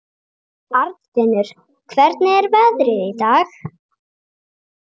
Arnfinnur, hvernig er veðrið í dag?